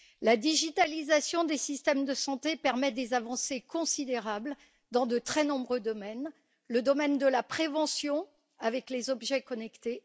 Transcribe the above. La digitalisation des systèmes de santé permet des avancées considérables dans de très nombreux domaines le domaine de la prévention, avec les objets connectés